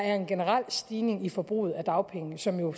er en generel stigning i forbruget af dagpenge som jo